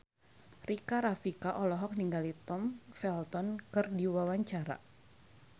Rika Rafika olohok ningali Tom Felton keur diwawancara